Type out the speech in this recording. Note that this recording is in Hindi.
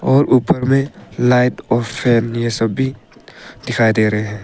और ऊपर में लाइट और फैन ये सब भी दिखाई दे रहे है।